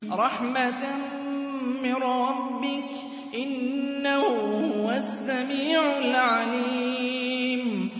رَحْمَةً مِّن رَّبِّكَ ۚ إِنَّهُ هُوَ السَّمِيعُ الْعَلِيمُ